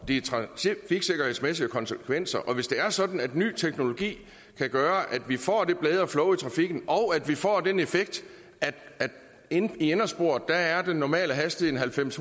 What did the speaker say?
de trafiksikkerhedsmæssige konsekvenser og hvis det er sådan at ny teknologi kan gøre at vi får det bedre flow i trafikken og at vi får den effekt at i indersporet er den normale hastighed halvfems